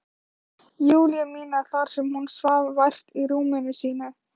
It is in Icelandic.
Júlíu mína þar sem hún svaf vært í rúminu sínu.